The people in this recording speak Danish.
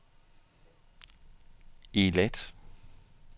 Eilat